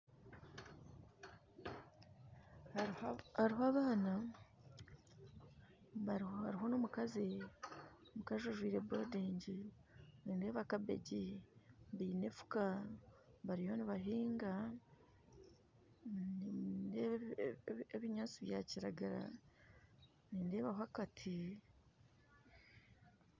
Hariho abaana , hariho n'omukazi mukazi ajwire bodingi nindeeba kabegi baine enfuka bariyo nibahinga nindeeba ebinyatsi bya kiragara nindeebaho akati